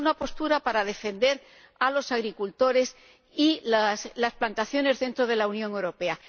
Es una postura para defender a los agricultores y las plantaciones dentro de la Unión Europea.